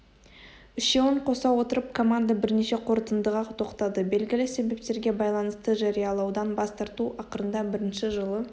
үшеуін қоса отырып команда бірнеше қорытындыға тоқтады белгілі себептерге байланысты жариялаудан бас тарту ақырында бірінші жылы